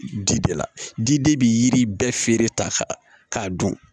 Di de la di de bi yiri bɛɛ feere ta k'a dun